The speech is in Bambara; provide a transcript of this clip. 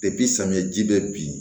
samiyɛji bɛ bin